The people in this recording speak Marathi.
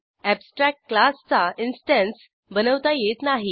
अॅबस्ट्रॅक्ट क्लासचा इन्स्टन्स बनवता येत नाही